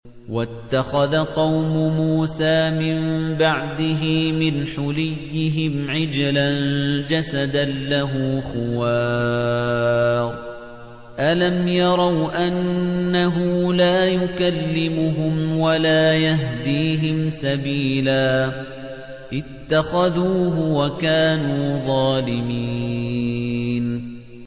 وَاتَّخَذَ قَوْمُ مُوسَىٰ مِن بَعْدِهِ مِنْ حُلِيِّهِمْ عِجْلًا جَسَدًا لَّهُ خُوَارٌ ۚ أَلَمْ يَرَوْا أَنَّهُ لَا يُكَلِّمُهُمْ وَلَا يَهْدِيهِمْ سَبِيلًا ۘ اتَّخَذُوهُ وَكَانُوا ظَالِمِينَ